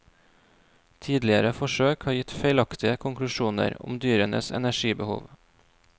Tidligere forsøk har gitt feilaktige konklusjoner om dyrenes energibehov.